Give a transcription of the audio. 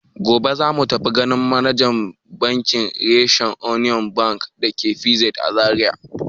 Gobe za mu tafi ganin manajan rashen Union Bank da ke PZ a Zariya.